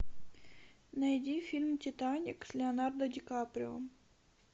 найди фильм титаник с леонардо ди каприо